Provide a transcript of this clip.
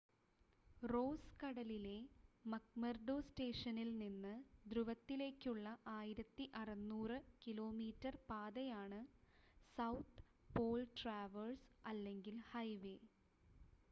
rose കടലിലെ McMurdo സ്റ്റേഷനിൽ നിന്ന് ധ്രുവത്തിലേക്കുള്ള 1600 കിലോമീറ്റർ പാതയാണ് സൗത്ത് പോൾ ട്രാവെർസ് അല്ലെങ്കിൽ ഹൈവേ